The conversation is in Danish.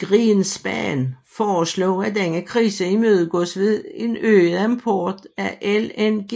Greenspan foreslog at denne krise imødegås ved en øget import af LNG